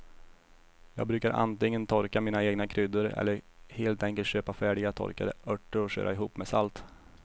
Jag brukar antingen torka mina egna kryddor eller helt enkelt köpa färdiga torkade örter och köra ihop med salt.